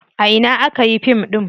A ina aka yi fim ɗin?